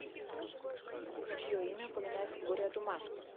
чье имя упоминается в горе от ума